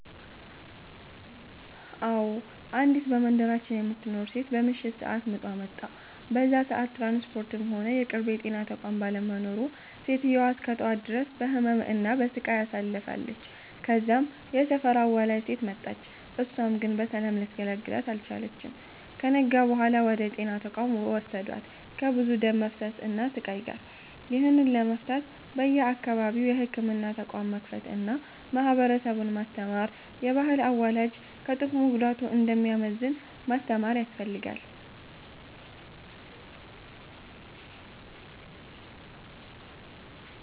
አዎ፤ አንዲት በመንደራችን የምትኖር ሴት በምሽት ሰአት ምጧ መጣ። በዛ ሰአት ትራንስፖርትም ሆነ የቅርብ የጤና ተቋም ባለመኖሩ ሴትዮዋ እስከ ጠዋት ድረስ በህመም እና በሰቃይ አሳልፍለች። ከዛም የሰፈር አዋላጅ ሴት መጣች እሳም ግን በሰላም ልታገላግላት አልቻለችም። ከነጋ በኋላ ወደ ጤና ተቋም ወሰዷት ከብዙ ደም መፍሰስ እና ስቃይ ጋር። ይህንን ለመፍታት በየአካባቢው የህክምና ተቋም መክፈት አና ማህበረሰቡን ማስተማር፤ የባህል አዋላጅ ከጥቅሙ ጉዳቱ እንደሚያመዝን ማስተማር ያስፈልጋል።